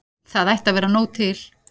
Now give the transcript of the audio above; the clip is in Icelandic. Það ætti að vera nóg til.